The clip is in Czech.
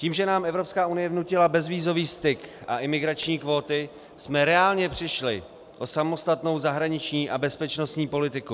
Tím, že nám Evropská unie vnutila bezvízový styk a imigrační kvóty, jsme reálně přišli o samostatnou zahraniční a bezpečnostní politiku.